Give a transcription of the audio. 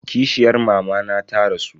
Kishiyar mamana ta rasu.